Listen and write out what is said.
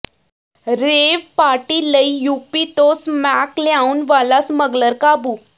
rave party ਲਈ UP ਤੋਂ smack ਲਿਆਉਣ ਵਾਲਾ ਸਮੱਗਲਰ ਕਾਬੂ